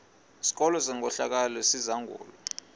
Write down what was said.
sikolo senkohlakalo esizangulwa